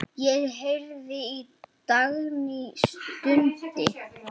Ég heyrði að Dagný stundi.